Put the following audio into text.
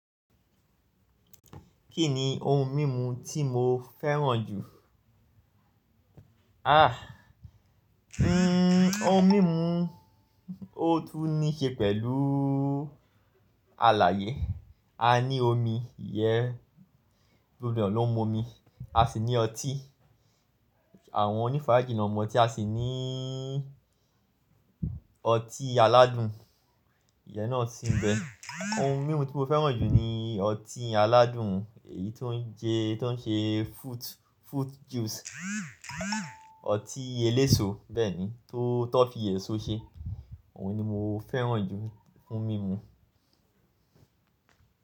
Kí ni ohun mímu tí mo fẹ́ràn jù? Ah! Ohun mímu, ó tún ní ṣe pẹ̀lú àlàyé. A ní omi, ìyẹ́ gbogbo ènìyàn ló ń mu omi. A sì ní ọtí, àwọn onífààjí ló ń mu ọtí, a sì níí ọtí aládùn. Ìyẹ́ náà sì ń bẹ. Ohun mímu tí mo fẹ́ràn jù ni ọtí aládùn, èyí tó ń ṣe fruit juice. Ọtí eléso, bẹ́ẹ̀ni t'on fi èso ṣe. Òun ni mo fẹ́ràn jù fún mímu.